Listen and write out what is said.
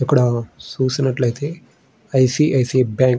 ఇక్కడ సుసినట్లైతే ఐసీఐసీఐ బ్యాంక్ --